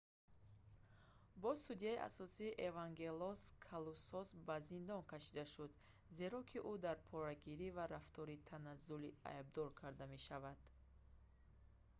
боз судяи асосӣ евангелос калусис ба зиндон кашида шуд зеро ки ӯ дар порагирӣ ва рафтори таназзулӣ айбдор карда мешавад